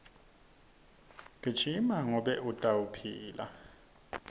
gijima ngobe utophila